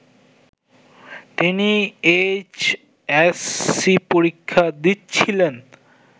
তিনি এইচএসসি পরীক্ষা দিচ্ছিলেন